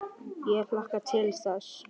Ég hlakka til þess.